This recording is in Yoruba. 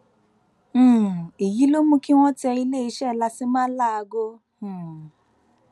um èyí ló mú kí wọn tẹ iléeṣẹ làṣémà láago um